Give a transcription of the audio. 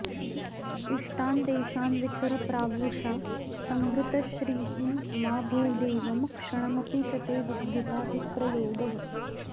इष्टान् देशान् विचर प्रावृषा संभृतश्रीः मा भूदेवं क्षणमपि च ते विद्युता विप्रयोगः